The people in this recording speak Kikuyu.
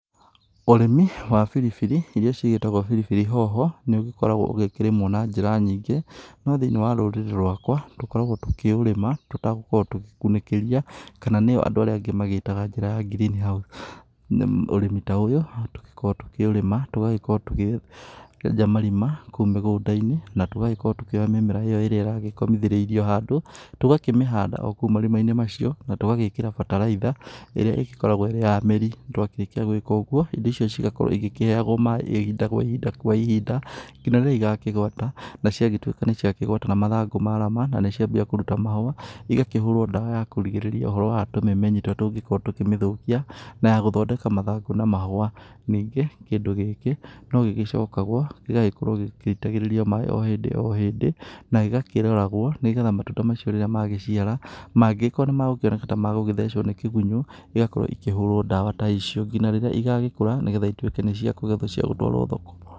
Ũrĩmi wa biribiri iria cigĩtagwo biribiri hoho nĩ ũgĩkoragwo ũgĩkĩrĩmwo na njĩra nyingĩ no thĩiniĩ wa rũrĩrĩ rwakwa tũkoragwo tũkĩũrĩma tũtagũkorwo tũgĩkunĩkĩria kana nĩyo andũ arĩa angĩ magĩtaga njĩra ya green house. Ũrĩmi ta ũyũ tũgĩkoragwo tũkĩũrĩma tũgakorwo tũkĩenja marima mĩgũnda-inĩ na tũgakorwo tũkĩoya mĩmera ĩrĩa iragĩkomithirio handũ, tũgakĩmĩhanda o kũu marima-inĩ macio na tũgagĩkĩra bataraitha iria ĩgĩkoragwo irĩ ya mĩri, twakĩrĩkia gũĩka ũguo indo icio ciothe cigakorwo igĩkĩheyagwo maĩ o ihinda kwa ihinda nginya rĩrĩa igakĩgwata na ciagĩtuĩka nĩ cia kĩgwata na mathangũ marama na nĩ ciambia kũruta mahũa ĩgakĩhũrwo ndawa ya kũgirĩrĩria ũhoro wa tũmemenyi tũrĩa tũngĩkorwo tũkĩmĩthũkia na gũthondeka mathangũ na mahũa. Ningĩ kindũ gĩkĩ no gĩcoka gũgakorwo gĩgĩitagĩrĩrio maĩ o hindĩ o hindĩ na gĩgakĩroragwo nĩgetha matunda macio rĩrĩa magĩciara mangĩgĩkirwo nĩ mekuoneka ta megũgĩthecwo nĩ kĩgunyo ĩgakorwo ikĩhũrwo ndawa ta icio ngina rĩrĩa ĩgagĩkũra nĩ getha ĩtuĩke nĩ cia kũgethwo cia gũtwarwo thoko.